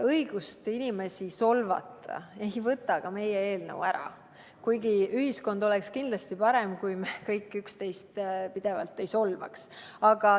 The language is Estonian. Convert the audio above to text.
Õigust inimesi solvata ei võta meie eelnõu ära, kuigi ühiskond oleks kindlasti parem, kui me kõik üksteist pidevalt ei solvaks.